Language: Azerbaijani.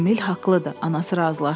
Emil haqlıdır, anası razılaşdı.